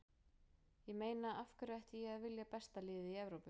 Ég meina af hverju ætti ég að vilja besta liðið í Evrópu?